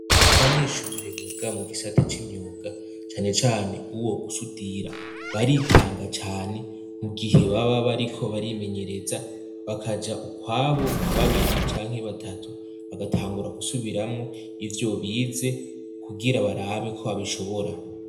Icumba c' ishur' abanyeshuri biga mu gisata c'imyuga cane can' uwo gusudira baritanga cane, mu gihe baba bariko barimenyereza bakaj' ukwabo nka babiri canke batatu bagatangura gusubiram' ivyo bize, kugira barabe ko babishobora, baba bambay' imyambaro y' akazi n' inkofero zikingir' umutwe, inyuma n' impande zabo har' ibindi bikoresho bitandukanye vy' ivyuma.